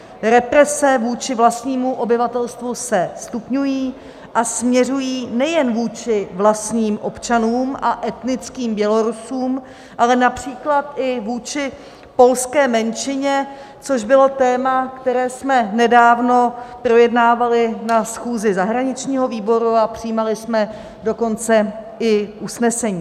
Represe vůči vlastnímu obyvatelstvu se stupňují a směřují nejen vůči vlastním občanům a etnickým Bělorusům, ale například i vůči polské menšině, což bylo téma, které jsme nedávno projednávali na schůzi zahraničního výboru, a přijímali jsme dokonce i usnesení.